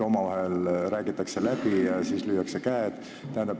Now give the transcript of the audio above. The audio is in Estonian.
Omavahel räägitakse läbi ja siis lüüakse käed.